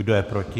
Kdo je proti?